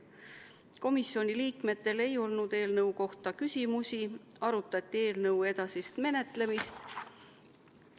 Komisjoni liikmetel ei olnud eelnõu kohta küsimusi, arutati eelnõu edasist menetlemist.